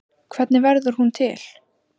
Hvernig verður hún til?